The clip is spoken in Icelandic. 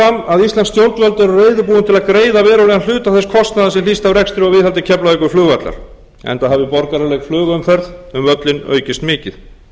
íslensk stjórnvöld eru reiðubúin til að greiða verulegan hluta þess kostnaðar sem hlýst af rekstri og viðhaldi keflavíkurflugvallar enda hafi borgaraleg flugumferð um völlinn aukist mikið